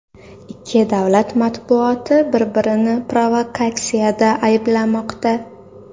Ikki davlat matbuoti bir-birini provokatsiyada ayblamoqda .